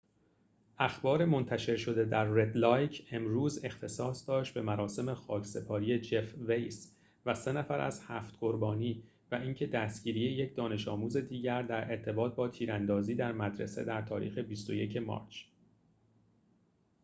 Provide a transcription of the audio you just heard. اخبار منتشر شده در رد لایک امروز اختصاص داشت به مراسم خاکسپاری جف ویس و سه نفر از هفت قربانی و اینکه دستگیری یک دانش‌آموز دیگر در ارتباط با تیراندازی در مدرسه در تاریخ ۲۱ مارچ